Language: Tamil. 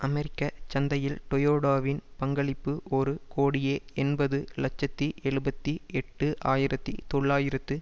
அமெரிக்க சந்தையில் டொயோடாவின் பங்களிப்பு ஒரு கோடியே எண்பது இலட்சத்தி எழுபத்தி எட்டு ஆயிரத்தி தொள்ளாயிரத்து